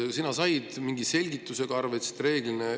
Kas sina said mingi selgitusega arveid?